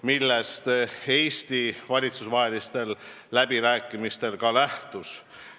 Sellest Eesti valitsustevahelistel läbirääkimistel ka lähtus.